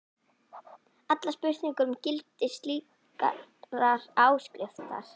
allar spurningar um gildi slíkrar áskriftar.